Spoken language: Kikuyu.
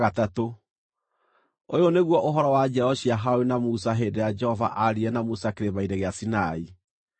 Ũyũ nĩguo ũhoro wa njiaro cia Harũni na Musa hĩndĩ ĩrĩa Jehova aaririe na Musa Kĩrĩma-inĩ gĩa Sinai.